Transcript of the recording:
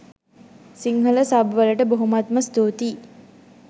Sinhala sub වලට බොහොමත්ම ස්තූතියි.